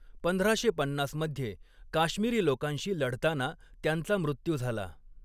पंधराशे पन्नास मध्ये काश्मिरी लोकांशी लढताना त्यांचा मृत्यू झाला.